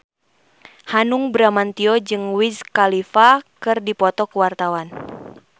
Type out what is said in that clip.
Hanung Bramantyo jeung Wiz Khalifa keur dipoto ku wartawan